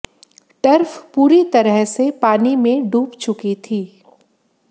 turf पूरी तरह से पानी में डूब चुकी थी